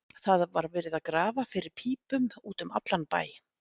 Það var verið að grafa fyrir pípum út um allan bæ.